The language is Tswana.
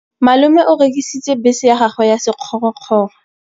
Malome o rekisitse bese ya gagwe ya sekgorokgoro.